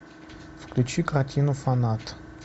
включи картину фанат